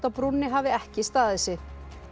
á brúnni hafi ekki staðið sig